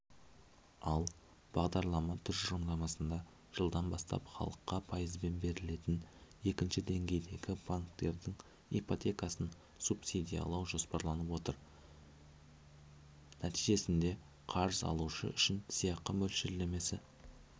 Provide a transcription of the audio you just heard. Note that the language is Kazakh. ал бағдарлама тұжырымдамасында жылдан бастап халыққа пайызбен берілетін екінші деңгейдегі банктердің ипотекасын субсидиялау жоспарланып отыр нәтижесінде қарыз алушы үшін сыйақы мөлшерлемесі